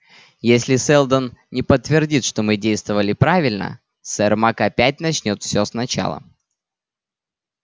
если сэлдон не подтвердит что мы действовали правильно сермак опять начнёт всё сначала